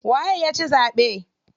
Waye yaci zaɓe?